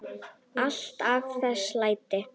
Alltaf þessi læti.